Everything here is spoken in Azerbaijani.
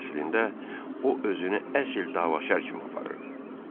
Əslində o özünü əsl davaşər kimi aparırdı.